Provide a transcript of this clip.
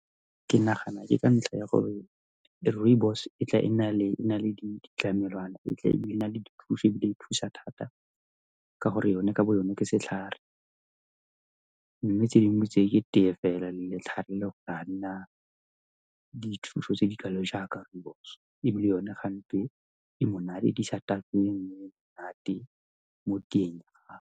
Ke nagana ke ka ntlha ya gore rooibos e tla e na le di ditlamelwana e tla e na le di nthusa thata ka gore yone ka bo yone ke setlhare. Mme tse dingwe ke tee fela le letlhare go le le one ga di na dithuso tse dikalo jaaka rooibos, ebile yone gante e monate mo teng ga.